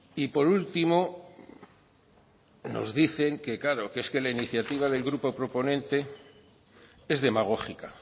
y por último nos dicen que claro que es que la iniciativa del grupo proponente es demagógica